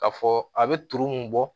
K'a fɔ a bɛ turu mun bɔ